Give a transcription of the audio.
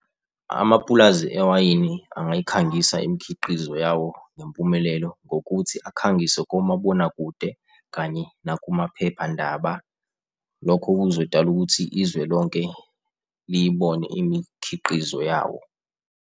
Amapulazi ewayini angayikhangisa imikhiqizo yawo ngempumelelo, ngokuthi akhangise komabonakude kanye nakumaphephandaba. Lokho kuzodala ukuthi izwe lonke liyibone imikhiqizo yawo.